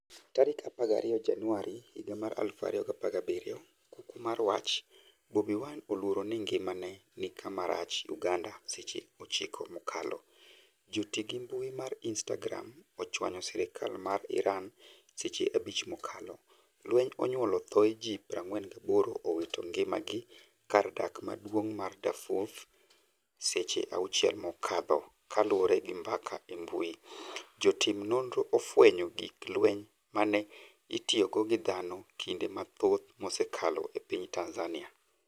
12 Januari 2017. Kuku mar wach: Bobi Wine oluoro ni ngimane ni kama rach' Uganda Seche 9 mokalo. Joti gi mbui mar Instagram ochwanyo sirkal ma Iran seche 5 mokalo. Lweny onyuolo thoe ji 48 owito ngima gi kar dak maduong' ma Darfur Seche 6 mokalo kaluore gi mbaka e mbui. Jotim nonro ofwenyo gig lweny mane itiyogo gi dhano kinde mathoth msekalo e piny Tanzania.